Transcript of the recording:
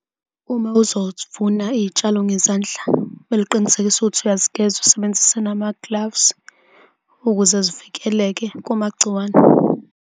Uma uzovuna iy'tshalo ngezandla mele uqinisekise ukuthi uyazigeza, usebenzisa namagilavzi, ukuze zivikeleke kumagciwane.